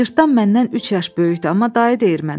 Cırtdan məndən üç yaş böyükdür, amma dayı deyir mənə.